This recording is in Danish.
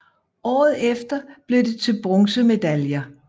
Året efter blev det til bronzemedaljer